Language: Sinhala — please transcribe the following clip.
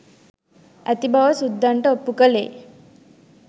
ඇති බව සුද්දන්ට ඔප්පු කළේ